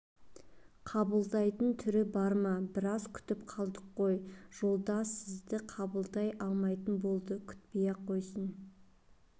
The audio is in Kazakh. қабылдайтын түрі бар ма біраз күтіп қалдық қой жолдас сізді қабылдай алмайтын болды күтпей-ақ қойсын